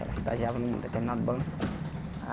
Ela estagiava num determinado banco.